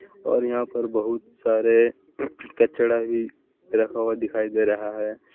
और यहां पर बहुत सारे कचरा भी रखा हुआ दिखाई दे रहा है।